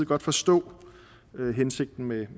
godt forstå hensigten med